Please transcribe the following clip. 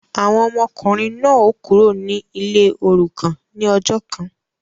Awọn ọmọkunrin náà o Kúrò ní ilé orukan ní ọjọ kàn